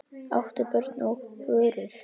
áttu börn og burur